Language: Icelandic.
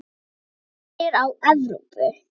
Lítum fyrst á Evrópu.